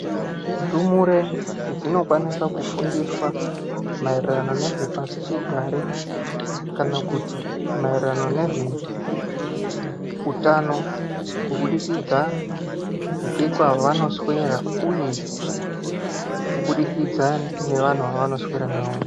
Ndumure dzinokwanisa kufundiswa maererano nezvepasichigare kana kuti maererano nezveutano kubudikidza ngekwavanoswera uye kubudikidza nevanhu vavanoswera navo.